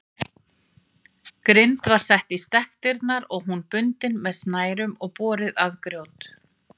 Grind var sett í stekkdyrnar og hún bundin með snærum og borið að grjót.